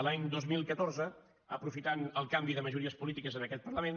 l’any dos mil catorze aprofitant el canvi de majories polítiques en aquest parlament